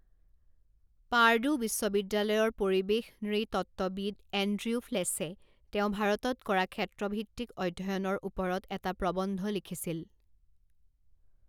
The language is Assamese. পাৰ্ডু বিশ্ববিদ্যালয়ৰ পৰিৱেশ নৃতত্ত্ববিদ এণ্ড্ৰিউ ফ্লেছে তেওঁ ভাৰতত কৰা ক্ষেত্ৰভিত্তিক অধ্য়য়নৰ ওপৰত এটা প্ৰবন্ধ লিখিছিল।